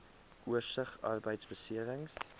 oorsig arbeidbeserings